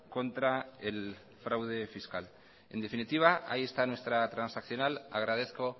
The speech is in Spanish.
contra el fraude fiscal en definitiva ahí está nuestra transaccional agradezco